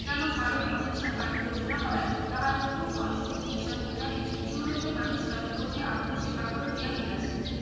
যেন ভারত অহিংসার বানি ঘোষণা করায় তাহার প্রথম ফল স্বরূপ হিংসার পুজারী ইউরোপীয় মানুষরা ক্রোধে আক্রোশে পাগল হইয়া গিয়াছে